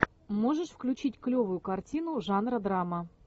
можешь включить клевую картину жанра драма